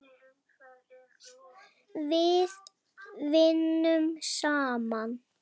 Við vinnum saman.